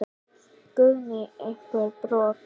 Guðný: Einhver brot?